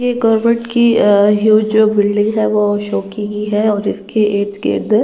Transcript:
ये गवर्नमेंट की ह्यूज जो बिल्डिंग है वो शो की गई हैऔर इसके इर्द - गिर्द --